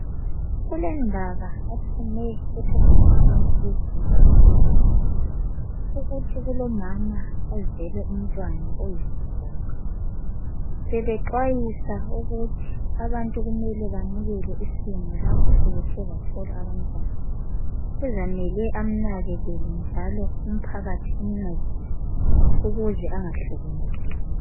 Kulendaba ephume ephephandabeni leviki ephelileyo. Ukuthi kulomama ozele umntwana oyisigoga. Bebexwayisa ukuthi abantu kumele bemukele isimo lapho sebethe bathola abantwana. Kuzamela amnakekele,, njalo umphakathi umncedise. Ukuze angahlukumezeki.